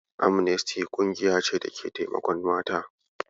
Amnesty ƙungiya ce da take taimakon mata.